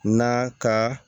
Na ka